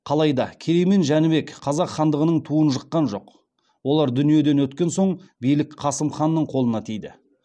қалайда керей мен жәнібек қазақ хандығының туын жыққан жоқ олар дүниеден өткен соң билік қасым ханның қолына тиді